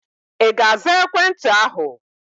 Ị ga-aza ekwentị ahụ?